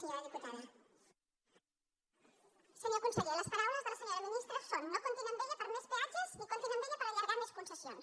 senyor conseller les paraules de la senyora ministra són no comptin amb ella per a més peatges ni comp·tin amb ella per allargar més concessions